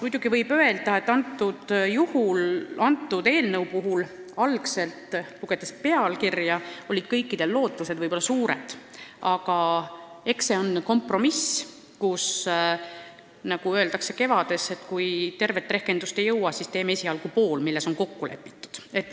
Muidugi võib öelda, et selle eelnõu puhul, kui lugeda eelnõu pealkirja, olid kõikide algsed lootused võib-olla suured, aga eks see on kompromiss, mille puhul on nii, nagu öeldakse "Kevades", et kui tervet rehkendust ei jõua, siis teeme esialgu pool sellest, milles on kokku lepitud.